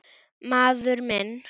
Maður minn.